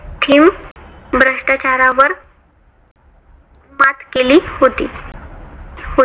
भ्रष्टाचारावर मात केली होती. होत